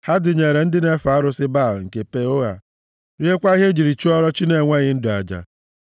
Ha dịnyeere ndị na-efe arụsị Baal nke Peoa, riekwa ihe e ji chụọrọ chi na-enweghị ndụ aja;